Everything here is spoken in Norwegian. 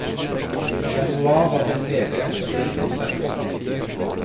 I januar var det en nedgang på én prosent.